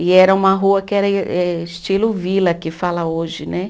E era uma rua que era eh estilo vila, que fala hoje, né?